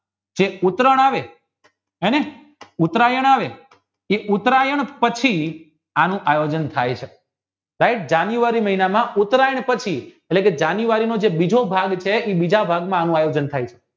જે ઉતરાયણ આવે હેને ઉતરાયણ આવે એ ઉતરાયણ પછી આનું આયોજન થાય છે right જાન્યુઆરી મહિનામાં ઉતરાયણ પેધી એટલે કે જાન્યુઆરી નો જે બીજો ભાગ છે એ બીજા ભાગમાં આનું આયોજન થાય છે